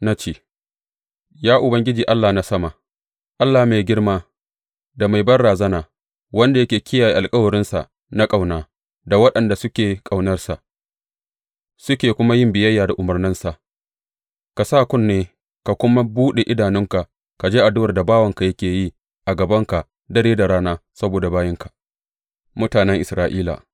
Na ce, Ya Ubangiji Allah na sama, Allah mai girma da mai banrazana, wanda yake kiyaye alkawarinsa na ƙauna da waɗanda suke ƙaunarsa, suke kuma yin biyayya da umarnansa, ka sa kunne ka kuma buɗe idanunka ka ji addu’ar da bawanka yake yi a gabanka dare da rana saboda bayinka, mutanen Isra’ila.